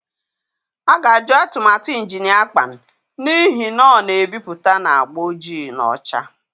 A ga-ajụ atụmatụ Injinia Akpan n'ihi na ọ na-ebipụta na agba ojii na ọcha.